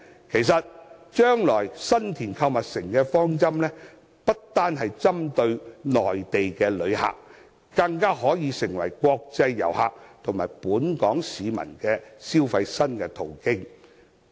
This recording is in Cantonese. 其實，將來新田購物城不單滿足內地旅客，更可以成為國際遊客和本港市民的消費新途徑。